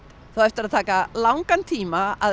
það á eftir að taka langan tíma að